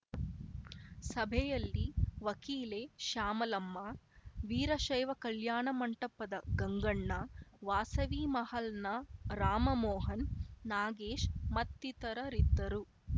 ಸಭೆಯಲ್ಲಿ ವಕೀಲೆ ಶ್ಯಾಮಲಮ್ಮ ವೀರಶೈವ ಕಲ್ಯಾಣ ಮಂಟಪದ ಗಂಗಣ್ಣ ವಾಸವಿ ಮಹಲ್‌ನ ರಾಮಮೋಹನ್‌ ನಾಗೇಶ್‌ ಮತ್ತಿತರರಿದ್ದರು